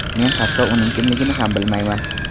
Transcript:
Men hatto uning kimligini ham bilmayman”.